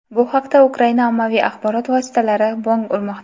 Bu haqda Ukraina ommaviy axborot vositalari bong urmoqda.